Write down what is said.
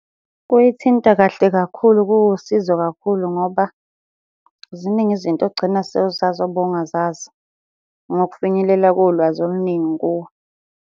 Kuyithinta kahle kakhulu kuwusizo kakhulu ngoba ziningi izinto ogcina sewuzazi obungazazi, ngokufinyelela kolwazi oluningi kuwe.